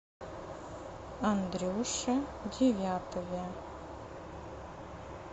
андрюше девятове